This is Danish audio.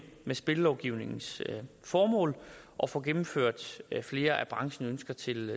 spillelovgivningens formål og får gennemført flere af branchens ønsker til